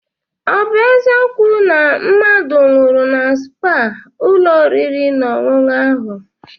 Ọ bụ eziokwu na mmadụ nwụrụ na spaa ụlọ oriri na ọṅụṅụ ahụ?